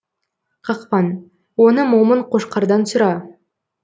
қақпан оны момын қошқардан сұра